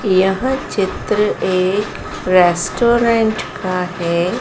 यह चित्र एक रेस्टोरेंट का है।